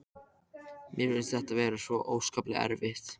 Mér finnst þetta svo óskaplega erfitt.